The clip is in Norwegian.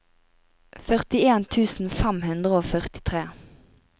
førtien tusen fem hundre og førtitre